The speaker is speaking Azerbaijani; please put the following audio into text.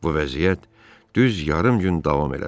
Bu vəziyyət düz yarım gün davam elədi.